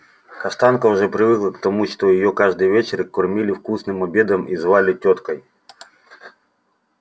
каштанка уже привыкла к тому что её каждый вечер кормили вкусным обедом и звали тёткой